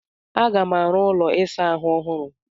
Aga m arụ ụlọ ịsa ahụ ọhụrụ